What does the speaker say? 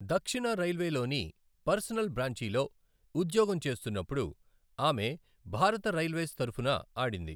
దక్షిణ రైల్వేలోని పర్సనల్ బ్రాంచిలో ఉద్యోగం చేస్తున్నప్పుడు ఆమె భారత రైల్వేస్ తరపున ఆడింది.